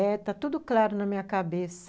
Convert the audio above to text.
Está tudo claro na minha cabeça.